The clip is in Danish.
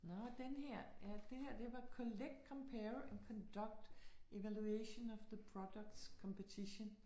Nå den her. Ja, det her det var collect, compare, and conduct evaluation of the products competition